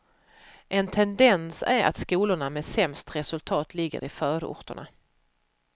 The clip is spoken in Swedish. En tendens är att skolorna med sämst resultat ligger i förorterna.